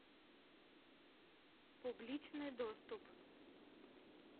публичный доступ